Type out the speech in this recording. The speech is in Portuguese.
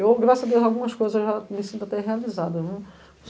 Eu, graças a Deus, algumas coisas já me sinto a ter realizada viu.